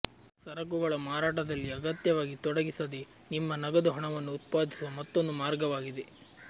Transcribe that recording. ಸರಕುಗಳ ಮಾರಾಟದಲ್ಲಿ ಅಗತ್ಯವಾಗಿ ತೊಡಗಿಸದೆ ನಿಮ್ಮ ನಗದು ಹಣವನ್ನು ಉತ್ಪಾದಿಸುವ ಮತ್ತೊಂದು ಮಾರ್ಗವಾಗಿದೆ